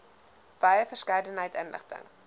wye verskeidenheid inligting